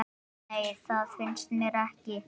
Nei, það finnst mér ekki.